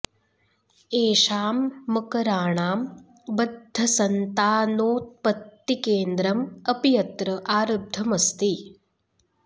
एषां मकराणां बद्धसन्तानोत्पत्ति केन्द्रम् अपि अत्र आरब्धम् अस्ति